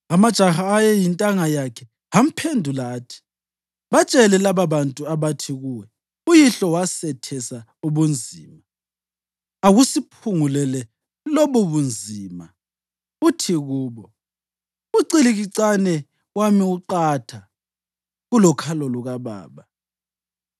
Amajaha ayeyintanga yakhe amphendula athi, “Batshele lababantu abathi kuwe, ‘Uyihlo wasethesa ubunzima, akusiphungulele lobubunzima’ uthi kubo, ‘Ucikilicane wami uqatha kulokhalo lukababa.